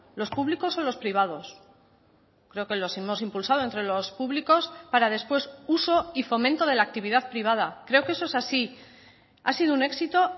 los públicos o los privados creo que los hemos impulsado entre los públicos para después uso y fomento de la actividad privada creo que eso es así ha sido un éxito